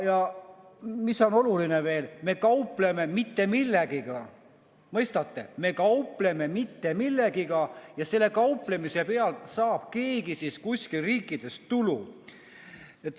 Ja mis on veel oluline: me kaupleme mitte millegagi, mõistate, me kaupleme mitte millegagi ja selle kauplemise pealt saab keegi kuskil riigis tulu.